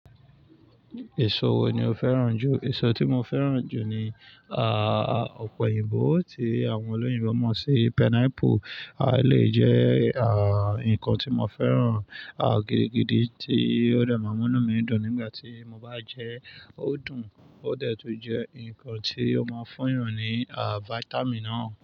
Èso wo ni o fẹ́ràn jù? Èso tí mo fẹ́ràn jù ni, ah, ọ̀pẹ̀yìnbo tí àwọn olóyìnbo mọ̀ sí pineapple. A lè jẹ́, ah, ǹkan tí mo fẹ́ràn, ah, gidigidi tí ó dẹ̀ máa mú mí dùn nígbà tí mo bá jẹ́ ẹ, ó dùn, ó dẹ̀ tún jẹ́ ǹkan tí ó máa ń fúnni hàn ní, ah, vitamin.